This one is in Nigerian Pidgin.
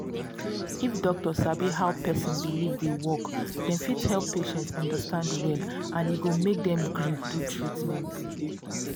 if doctor sabi how person believe dey work dem fit help patient understand well and e go make dem gree do treatment